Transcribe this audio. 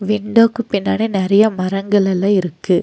விண்டோக்கு பின்னாடி நெறையா மரங்கலெல்லா இருக்கு.